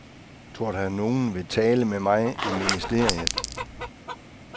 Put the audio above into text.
Tror du, at nogen vil tale med mig i ministeriet?